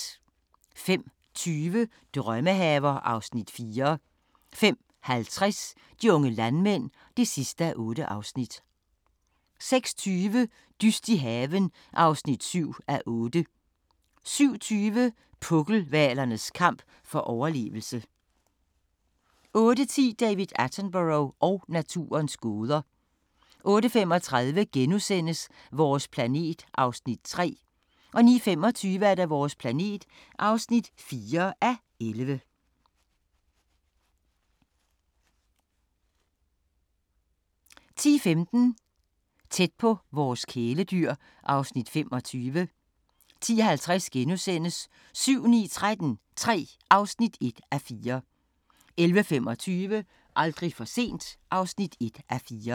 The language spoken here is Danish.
05:20: Drømmehaver (Afs. 4) 05:50: De unge landmænd (8:8) 06:20: Dyst i haven (7:8) 07:20: Pukkelhvalernes kamp for overlevelse 08:10: David Attenborough og naturens gåder 08:35: Vores planet (3:11)* 09:25: Vores planet (4:11) 10:15: Tæt på vores kæledyr (Afs. 25) 10:50: 7-9-13 III (1:4)* 11:25: Aldrig for sent (1:4)